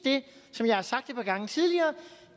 som jeg har sagt et par gange tidligere